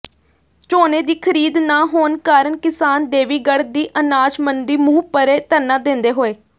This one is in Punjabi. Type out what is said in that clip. ਝੋਨੇ ਦੀ ਖਰੀਦ ਨਾ ਹੋਣ ਕਾਰਨ ਕਿਸਾਨ ਦੇਵੀਗੜ੍ਹ ਦੀ ਅਨਾਜ ਮੰਡੀ ਮੂਹਪਰੇ ਧਰਨਾ ਦਿੰਦੇ ਹੋਏ